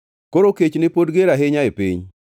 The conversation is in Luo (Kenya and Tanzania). Koro kech ne pod ger ahinya e piny.